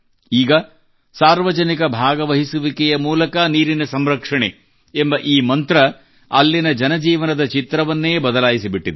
ಈಗ ಸಾರ್ವಜನಿಕ ಭಾಗವಹಿಸುವಿಕೆಯ ಮೂಲಕ ನೀರಿನ ಸಂರಕ್ಷಣೆ ಎಂಬ ಈ ಮಂತ್ರವು ಅಲ್ಲಿನ ಜನಜೀವನದ ಚಿತ್ರವನ್ನೇ ಬದಲಾಯಿಸಿ ಬಿಟ್ಟಿದೆ